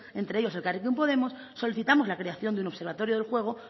entre ellos elkarrekin podemos solicitamos la creación de un observatorio del juego